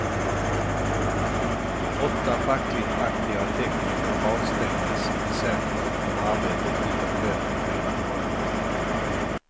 Åtta fackligt aktiva tekniker avstängdes i december från arbetet utan lön i fyra månader.